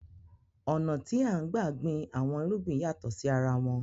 Ọ̀nà tí a ń gbà gbìn àwọn irúgbìn yàtọ̀ sí arawọn